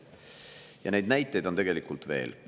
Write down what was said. Ja neid näiteid on tegelikult veel.